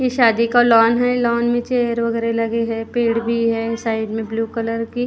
ये शादी का लॉन है लॉन में चेयर वगैरह लगी है पेड़ भी है साइड में ब्लू कलर की।